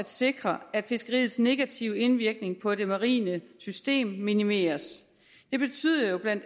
sikres at fiskeriets negative indvirkning på det marine system minimeres det betyder jo bla